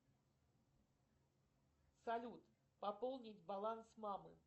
салют пополнить баланс мамы